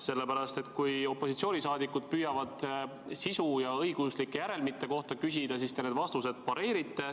Sellepärast, et kui opositsiooni liikmed püüavad sisu ja õiguslike järelmite kohta küsida, siis te need vastused pareerite.